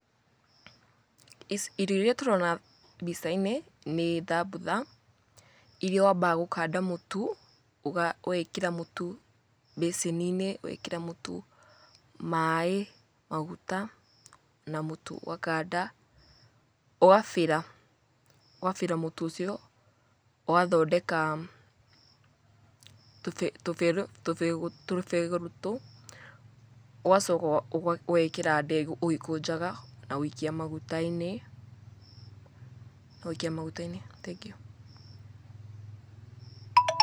Irio iria tũrona mbicai-inĩ nĩ thambutha iria wambaga gũkanda mũtu, ũgekira mũtu mbeceni-inĩ, ũgekĩra mũtu maĩ maguta na mũtu. Ũgakanda ũgabĩra mũtu ũcio. Ũgathondeka tũ begũrũtũ ũgacoka ũgekĩra ndengũ ũgĩkũnjaga na gũikia maguta-inĩ na gũikia maguta-inĩ thengiũ.